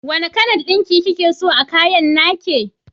Wanna kalan ɗinki kikeso a kayan nake?